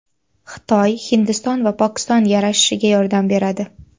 Xitoy Hindiston va Pokiston yarashishiga yordam beradi.